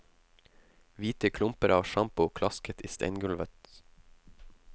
Hvite klumper av sjampo klasket i steingulvet.